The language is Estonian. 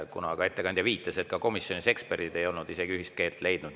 Ettekandja viitas, et ka komisjonis ei olnud isegi eksperdid ühist keelt leidnud.